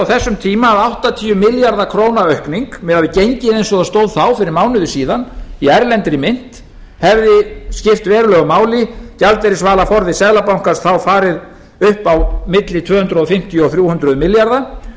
þessum tíma að áttatíu milljarða króna aukning miðað við gengið eins og það stóð þá fyrir mánuði síðan í erlendri mynt hefði skipt verulegu máli gjaldeyrisvaraforði seðlabankans þá farið upp á milli tvö hundruð fimmtíu og þrjú hundruð milljarða